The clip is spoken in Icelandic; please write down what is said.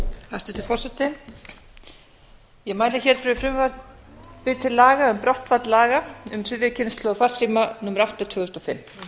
hæstvirtur forseti ég mæli fyrir frumvarpi til laga um brottfall laga um þriðju kynslóð farsíma númer átta tvö þúsund og fimm